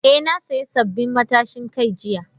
Eh, na sayi sabbin matashin kai jiya.